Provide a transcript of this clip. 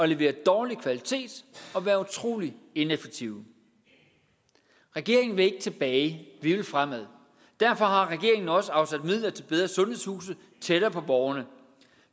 levere dårlig kvalitet og være utroligt ineffektive regeringen vil ikke tilbage vi vil fremad derfor har regeringen også afsat midler til bedre sundhedshuse tættere på borgerne